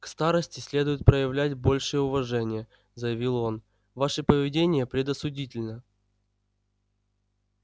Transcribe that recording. к старосте следует проявлять большее уважение заявил он ваше поведение предосудительно